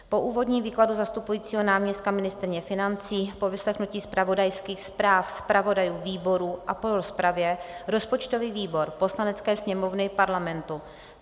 Po úvodním výkladu zastupujícího náměstka ministryně financí, po vyslechnutí zpravodajských zpráv zpravodajů výborů a po rozpravě rozpočtový výbor Poslanecké sněmovny Parlamentu